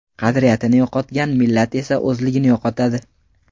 Qadriyatini yo‘qotgan millat esa o‘zligini yo‘qotadi.